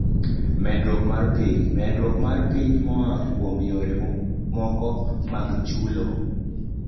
Medruok mar piem: Medruok mar piem moa kuom yore mamoko mag chulo.